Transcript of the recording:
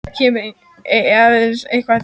Það kemur aðeins eitt til greina.